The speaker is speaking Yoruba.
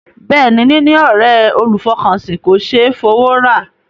Bẹ́ẹ̀ ni, níní ọ̀ré olùfọkànsìn kò ṣé é fowó rà.